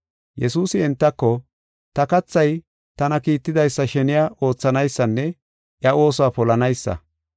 Yesuusi entako, “Ta kathay tana kiittidaysa sheniya oothanaysanne iya oosuwa polanaysa.